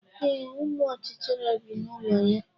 Ee, ụmụ ọchichara bi n'ụlọ ya.